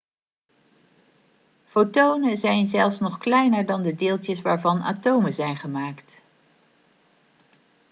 fotonen zijn zelfs nog kleiner dan de deeltjes waarvan atomen zijn gemaakt